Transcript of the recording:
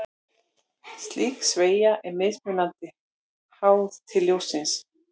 Slík sveigja er mismikil, háð lit ljóssins.